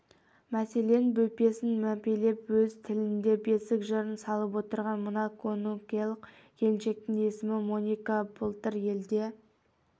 мәселен бөпесін мәпелеп өз тілінде бесік жырын салып отырған мына конголық келіншектің есімі моника былтыр елде